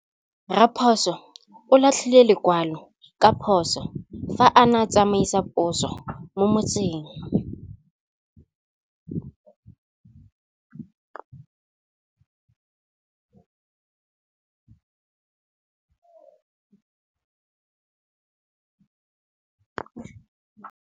Raposo o latlhie lekwalô ka phosô fa a ne a tsamaisa poso mo motseng.